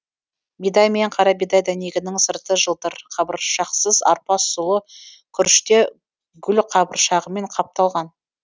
бидай мен қарабидай дәнегінің сырты жылтыр қабыршақсыз арпа сұлы күріш те гүлқабыршағымен қапталған